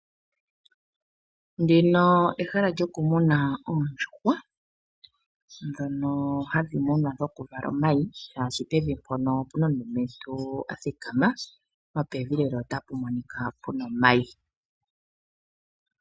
Ndino ehala lyoku muna oondjuhwa dhono hadhi munwa dhoku vala omayi shaashi pevi mpono opuna omulumentu athikama nopevi lela otapu monika puna omayi.